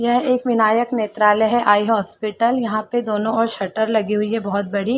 यह एक विनायक नॆत्रालय है आई हॉस्पिटल यहाँ पे दोनों ओर शटर लगी हुई है बहुत बड़ी --